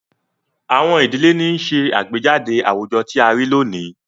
Àwọn idile ni nṣe agbejade awujọ ti a rii loni